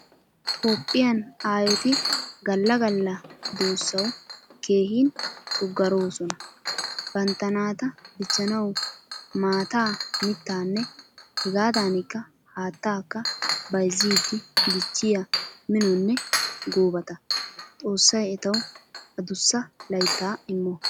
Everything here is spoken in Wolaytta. Toophphiyan aayoti Galla Galla duusawu keehin tuggaroosona. Bantta naataa dichchanawu maataa, mittanne hegadanika haattaakka bayzzidi dichchiya minonne goobata. Xossay etawu addussa laytta immo.